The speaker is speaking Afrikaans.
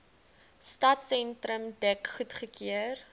stadsentrum dek goedgekeur